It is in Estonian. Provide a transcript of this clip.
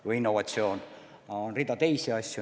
Või innovatsioon ja rida teisi asju.